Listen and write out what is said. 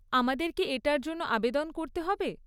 আমাদের কি এটার জন্য আবেদন করতে হবে?